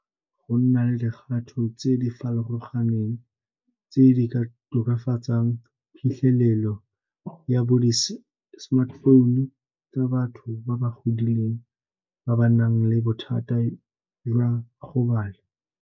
Go nna le dikgato tse di farologaneng tse di ka tokafatsang phitlhelelo ya bo di-smartphone tsa batho ba ba godileng ba ba nang le bothata jwa go bala.